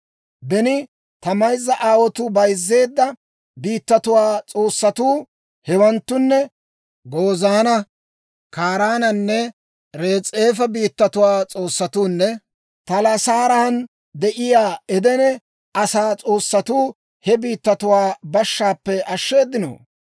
Beni ta mayzza aawotuu bayzzeedda biittatuwaa s'oossatuu, hewanttunne Gozaana, Kaaraanenne Res'eefa biittatuwaa s'oossatuunne Talassaaran de'iyaa Edene asaa s'oossatuu he biittatuwaa bashshaappe ashsheeddinoo?